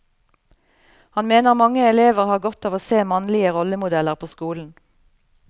Han mener mange elever har godt av å se mannlige rollemodeller på skolen.